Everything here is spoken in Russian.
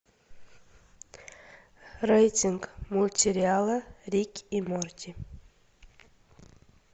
рейтинг мультсериала рик и морти